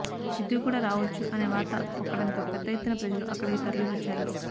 సిద్ధూ కూడా రావొచ్చు అనే వార్త పొక్కడంతో పెద్ద ఎత్తున ప్రజలు అక్కడికి తరలివచ్చారు